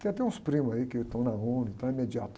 Tem até uns primos aí que estão na ONU, então é.